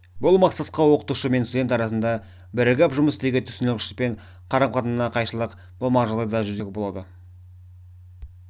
бұл мақсатқа оқытушы мен студент арасында бірігіп жұмыс істеуге түсінушілік пен қарама-қайшылық болмаған жағдайда жетуге болады